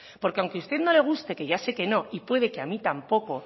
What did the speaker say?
porque aunque a usted no le guste que ya sé que no y puede que a mí tampoco